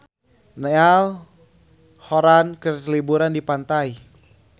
Niall Horran keur liburan di pantai